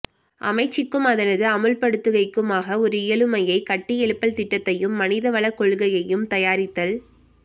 அமைச்சுக்கும் அதனது அமுல்படுத்துகைக்குமாக ஒரு இயலுமையைக் கட்டியெழுப்பல் திட்டத்தையும் மனிதவள கொள்கையையும் தயாரித்தல்